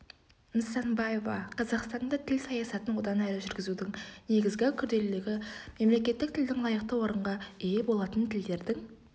нысанбаева қазақстанда тіл саясатын одан әрі жүргізудің негізгі күрделілігі мемлекеттік тілдің лайықты орынға ие болатын тілдердің